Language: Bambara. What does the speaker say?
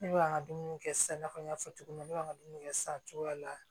Ne bɛ an ka dumuni kɛ sisan i n'a fɔ n y'a fɔ cogo min na ne b'a dumuni kɛ san cogoya la